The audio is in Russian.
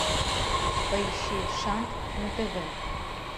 поищи шант на тв